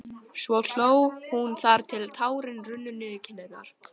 Svo hló hún þar til tárin runnu niður kinnarnar.